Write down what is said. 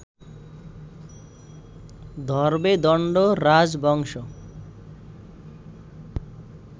ধরবে দণ্ড রাজবংশ